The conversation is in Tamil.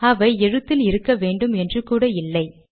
அவை எழுத்தில் இருக்க வேன்டும் என்று கூட இல்லை